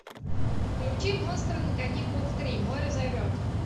включи монстры на каникулах три море зовет